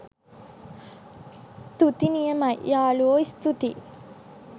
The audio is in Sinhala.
තුති නියමයි යාළුවා ස්තුතියි